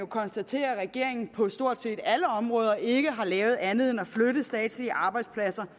konstatere at regeringen på stort set alle områder ikke har lavet andet end at flytte statslige arbejdspladser